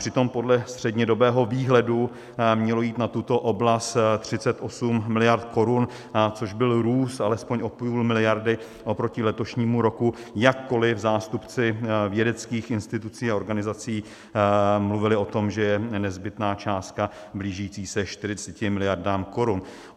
Přitom podle střednědobého výhledu mělo jít na tuto oblast 38 miliard korun, což byl růst alespoň o půl miliardy oproti letošnímu roku, jakkoli zástupci vědeckých institucí a organizací mluvili o tom, že je nezbytná částka blížící se 40 miliardám korun.